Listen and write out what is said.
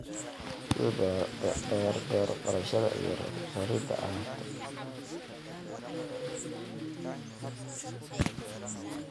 sida beero falashada iyo rarida alaabta.